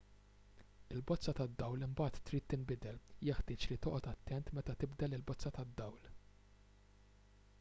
il-bozza tad-dawl imbagħad trid tinbidel jeħtieġ li toqgħod attent meta tibdel il-bozza tad-dawl